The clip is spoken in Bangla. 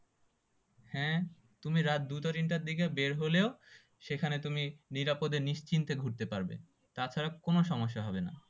হ্যাঁ তুমি রাট দুটো তিনটের দিকে বের হলেও সেখানে তুমি নিরাপদে নিশ্চিন্তে ঘুরতে পারবে তা ছাড়া কোনো সমস্যা হবে না